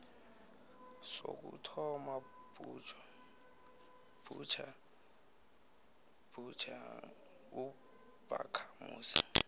sokuthoma butjha ubakhamuzi